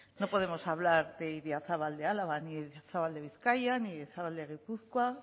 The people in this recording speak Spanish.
no podemos hablar de idiazabal de álava ni de idiazabal de bizkaia ni idiazabal de gipuzkoa